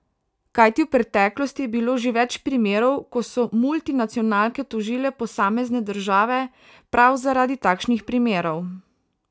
Kajti v preteklosti je bilo že več primerov, ko so multinacionalke tožile posamezne države prav zaradi takšnih primerov.